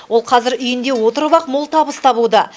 ол қазір үйінде отырып ақ мол табыс табуда